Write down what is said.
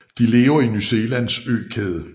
De lever i New Zealands økæde